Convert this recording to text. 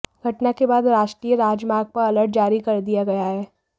घटना के बाद राष्ट्रीय राजमार्ग पर अलर्ट जारी कर दिया गया है